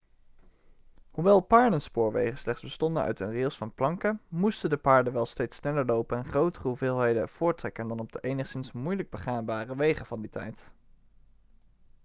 hoewel paardenspoorwegen slechts bestonden uit een rails van planken moesten de paarden wel steeds sneller lopen en grotere hoeveelheden voorttrekken dan op de enigszins moeilijk begaanbare wegen van die tijd